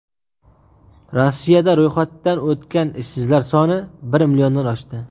Rossiyada ro‘yxatdan o‘tgan ishsizlar soni bir milliondan oshdi.